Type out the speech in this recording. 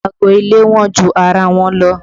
Aago ilé wọ́n ju ara wọn lọ